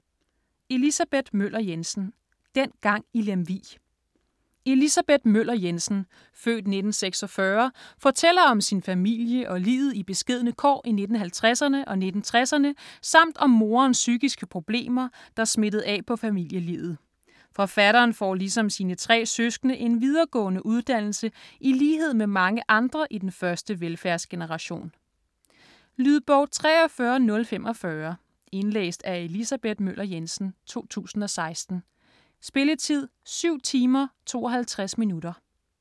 Møller Jensen, Elisabeth: Dengang i Lemvig Elisabeth Møller Jensen (f. 1946) fortæller om sin familie og livet i beskedne kår i 1950'erne og 1960'erne samt om moderens psykiske problemer, der smittede af på familielivet. Forfatteren får, ligesom sine tre søskende, en videregående uddannelse i lighed med mange andre i den første velfærdsgeneration. Lydbog 43045 Indlæst af Elisabeth Møller Jensen, 2016. Spilletid: 7 timer, 52 minutter.